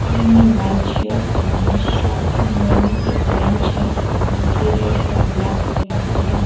White shirt पहना है shop के अंदर में एक बेंच है जो की रेड और ब्लैक कलर की है।